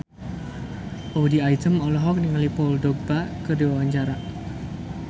Audy Item olohok ningali Paul Dogba keur diwawancara